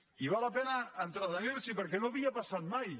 i val la pena entretenir s’hi perquè no havia passat mai